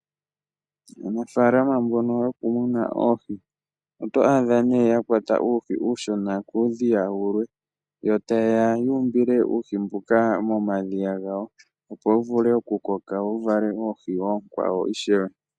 Aanafaalama mbono yo kumuna oohi oto adha nee ya kwata uuhi uushona kuudhiya wulwe, yo taye ya yu mbile uuhi mbuka mo madhiya gawo opowu vule oku koka, wo wuvale oohi oonkwawo ishewe.